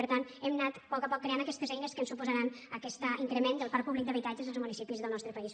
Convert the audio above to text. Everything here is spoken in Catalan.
per tant hem anat a poc a poc creant aquestes eines que ens suposaran aquest increment del parc públic d’habitatges als municipis del nostre país